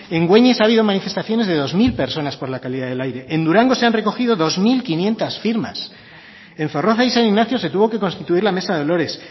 en güeñes ha habido manifestaciones de dos mil personas por la calidad del aire en durango se han recogido dos mil quinientos firmas en zorroza y san ignacio se tuvo que constituir la mesa de olores